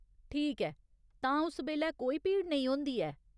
ठीक ऐ, तां उस बेल्लै कोई भीड़ नेईं होंदी ऐ ?